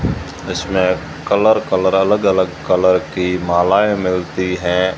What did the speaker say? इसमें colour colour अलग अलग कलर की मालाएं मिलती हैं।